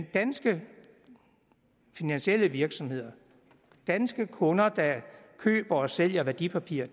danske finansielle virksomheder danske kunder der køber og sælger værdipapirer